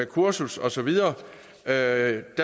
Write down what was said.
kursus og så videre der